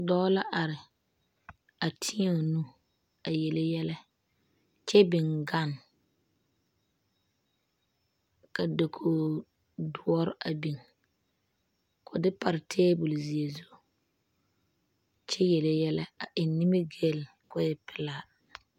Dɔɔ la are teɛ o nu a yele yɛlɛ, kyɛ biŋ gane, ka dakogi doɔre a biŋ ka o de pare 'table' zeɛ zu kyɛ yele yɛlɛ a eŋ nimiri gali ka o e pelaa.